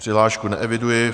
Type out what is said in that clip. Přihlášku neeviduji.